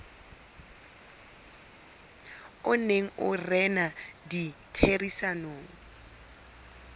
o neng o rena ditherisanong